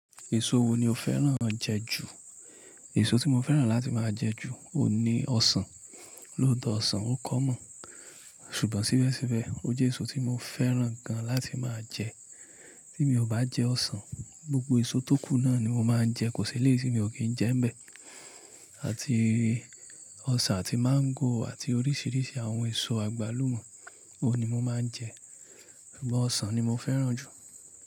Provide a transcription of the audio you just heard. Èso wo ni o fẹ́ràn jẹ ju? Èso tí mo fẹ́ràn láti máa jẹ ju òun ní ọsàn, lóòtó ọsàn ó common, ṣùgbọ́n síbẹ̀síbẹ̀ ó j'èso tí mo fẹ́ràn gan láti máa jẹ. Tí mi ò bá jẹ ọsàn, gbogbo èso tó kú náà ni mo máa ń jẹ, kò seleyii tí mi ò kí ń jẹ ń bẹ̀, àti ọsàn àti máńgò àti oríṣiríṣi àwọn èso àgbálùmọ́, òun ni mo máa ń jẹ. Ṣùgbọ́n ọsàn ni mo fẹ́ràn jù.